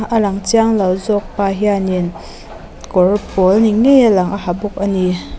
a lang chianglo zawk pa hianin kawr pawl ni ngei a lang a ha bawk a ni.